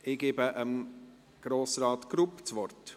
Ich gebe Grossrat Grupp das Wort.